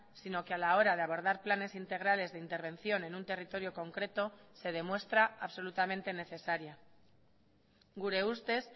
sino que a la hora de abordar planes integrales de intervención en un territorio concreto se demuestra absolutamente necesaria gure ustez